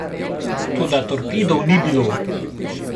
Toda torpedov ni bilo.